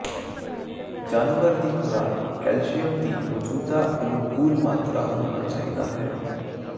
ਜਾਨਵਰ ਦੀ ਖੁਰਾਕ ਕੈਲਸ਼ੀਅਮ ਦੀ ਮੌਜੂਦਾ ਅਨੁਕੂਲ ਮਾਤਰਾ ਹੋਣਾ ਚਾਹੀਦਾ ਹੈ